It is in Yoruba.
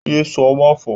Ye sọ máfọ̀ọ́!